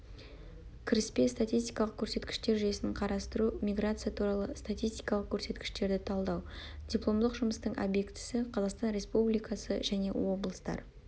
кіріспе статистикалық көрсеткіштер жүйесін қарастыру миграция туралы статистикалық көрсеткіштерді талдау дипломдық жұмыстың объектісі-қазақстан республикасы және облыстар